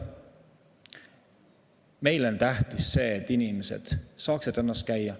Meile on tähtis see, et inimesed saaksid rannas käia.